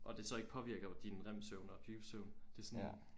Og det så ikke påvirker din rem-søvn og dybe søvn det er sådan